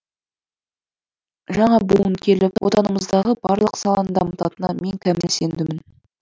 жаңа буын келіп отанымыздағы барлық саланы дамытанына мен кәміл сендім